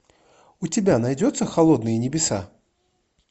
у тебя найдется холодные небеса